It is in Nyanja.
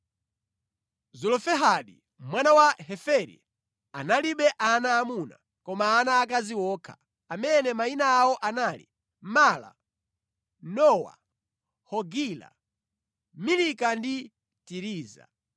(Zelofehadi mwana wa Heferi analibe ana aamuna koma ana aakazi okha, amene mayina awo anali: Mala, Nowa, Hogila, Milika ndi Tiriza.)